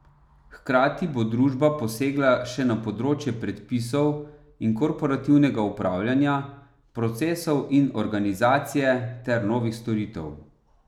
Hkrati bo družba posegla še na področje predpisov in korporativnega upravljanja, procesov in organizacije ter novih storitev.